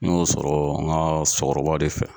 N y'o sɔrɔ n ka sokɔrɔba de fɛ.